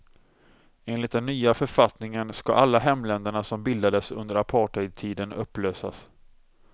Enligt den nya författningen skall alla hemländerna som bildades under apartheidtiden upplösas.